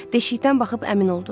Deşikdən baxıb əmin oldu.